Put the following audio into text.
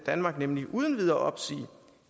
danmark nemlig uden videre opsige